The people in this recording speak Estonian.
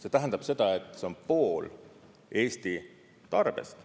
See tähendab seda, et see on pool Eesti tarbest.